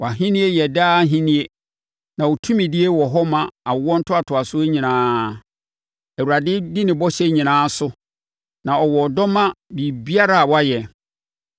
Wʼahennie yɛ daa ahennie, na wo tumidie wɔ hɔ ma awoɔ ntoantoasoɔ nyinaa. Awurade di ne bɔhyɛ nyinaa so, na ɔwɔ ɔdɔ ma biribiara a wayɛ.